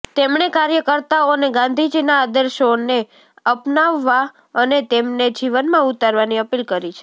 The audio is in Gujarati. તેમણે કાર્યકર્તાઓને ગાંધીજીના આદર્શોને અપનાવવા અને તેમને જીવનમાં ઉતારવાની અપીલ કરી છે